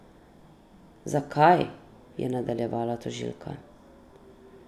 Zakaj, je nadaljevala tožilka.